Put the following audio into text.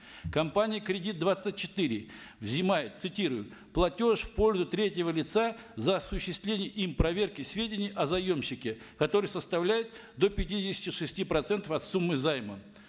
компания кредит двадцать четыре взимает цитирую платеж в пользу третьего лица за осуществление им проверки сведений о заемщике который составляет до пятидесяти шести процентов от суммы займа